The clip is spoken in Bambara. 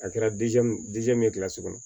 A kɛra min ye kilasi kɔnɔ